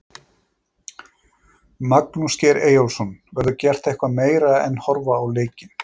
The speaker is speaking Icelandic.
Magnús Geir Eyjólfsson: Verður gert eitthvað meira en horfa á leikinn?